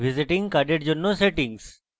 visiting card জন্য settings